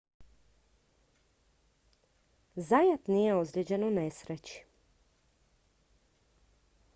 zayat nije ozlijeđen u nesreći